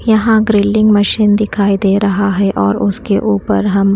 यहां grilling machine दिखाई दे रहा है और उसके ऊपर हम--